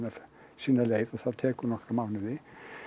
sína leið og það tekur nokkra mánuði